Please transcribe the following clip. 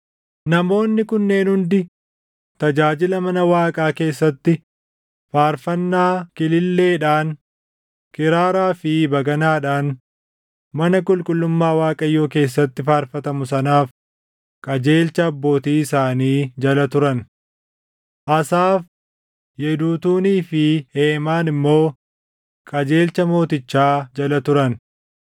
Namoonni kunneen hundi tajaajila mana Waaqaa keessatti faarfannaa kililleedhaan, kiraaraa fi baganaadhaan mana qulqullummaa Waaqayyoo keessatti faarfatamu sanaaf qajeelcha abbootii isaanii jala turan. Asaaf, Yeduutuunii fi Heemaan immoo qajeelcha mootichaa jala turan.